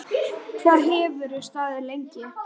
Hvað hefur þetta staðið lengi?